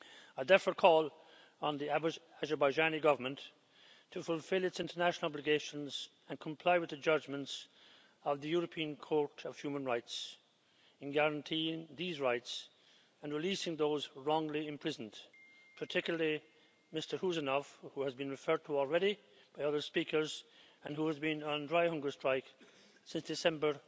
I therefore call on the Azerbaijani Government to fulfil its international obligations and comply with the judgments of the European Court of Human Rights in guaranteeing these rights and releasing those wrongly imprisoned, particularly Mr Huseynov, who has been referred to already by other speakers, and who has been on dry hunger strike since December